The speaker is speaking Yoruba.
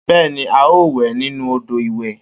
Bẹ́ẹ́ni a o wẹ̀ nínú odò ìwẹ̀